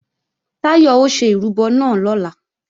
Táyọ̀ ó ṣe ìrúbọ náà lọ́la